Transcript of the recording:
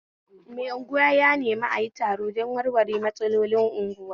Mai unguwa ya nemi ayi taro don warware matsalolin unguwa